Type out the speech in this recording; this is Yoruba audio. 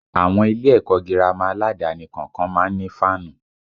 Àwọn ilé ẹ̀kọ́ gírámà aládàáni kọ̀ọ̀kan má ń ní fáànù